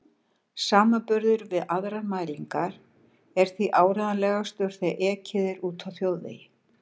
Samanburður við aðrar mælingar er því áreiðanlegastur þegar ekið er úti á þjóðvegi.